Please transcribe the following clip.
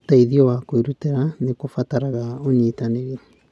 Ũteithio wa kwĩrutĩra nĩ kũbataraga ũnyitanĩri.